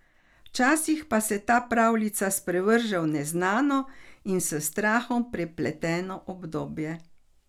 Včasih pa se ta pravljica sprevrže v neznano in s strahom prepleteno obdobje.